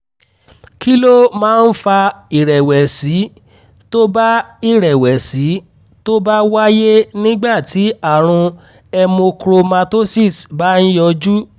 kí ló máa ń fa ìrẹ̀wẹ̀sì tó bá ìrẹ̀wẹ̀sì tó bá wáyé nígbà tí àrùn hemochromatosis bá ń yọjú?